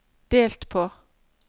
delt på